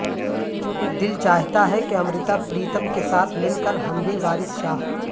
دل چاہتا ہے کہ امرتا پریتم کے ساتھ مل کر ہم بھی وارث شاہ